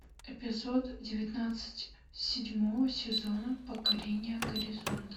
эпизод девятнадцать седьмого сезона покорение горизонта